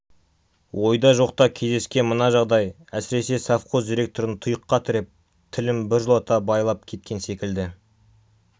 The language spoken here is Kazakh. ойда жоқта кездескен мына жағдай әсіресе совхоз директорын тұйыққа тіреп тілін біржолата байлап кеткен секілді